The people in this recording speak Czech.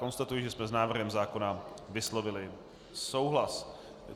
Konstatuji, že jsme s návrhem zákona vyslovili souhlas.